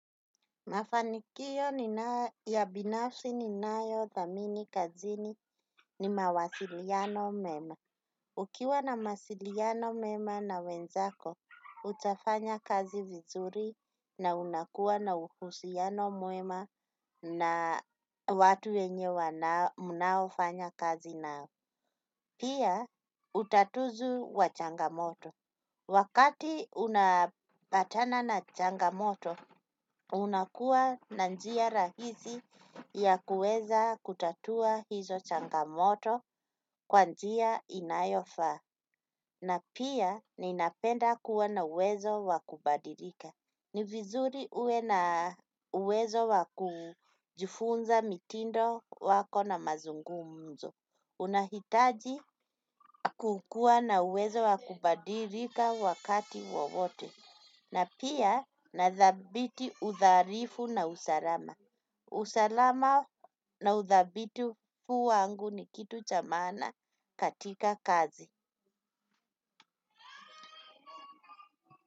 Mafanikio ni ya binafsi ninayo thamini kazini ni mawasiliano mema. Ukiwa na mawasiliano mema na wenzako, utafanya kazi vizuri na unakua na uhusiano mwema na watu yenye wanao mnaofanya kazi nao. Pia, utatuzu wa changamoto. Wakati unapatana na changamoto, unakuwa na njia rahisi ya kuweza kutatua hizo changamoto kwa njia inayofaa. Na pia ninapenda kuwa na uwezo wa kubadilika. Ni vizuri uwe na uwezo wa kujifunza mitindo wako na mazungumzo. Una hitaji kukua na uwezo wa kubadilika wakati wowote. Na pia na thabiti utharifu na usalama usalama na uthabiti kwangu ni kitu cha maana katika kazi.